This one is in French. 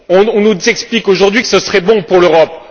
On nous explique aujourd'hui que ce serait bon pour l'Europe.